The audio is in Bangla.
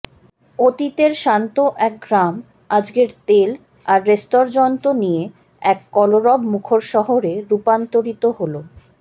অতীতের শান্ত এক গ্রাম আজকের তেল আর রেস্তর্যন্ট নিয়ে এক কলরব মুখর শহরে রুপান্তরিত হল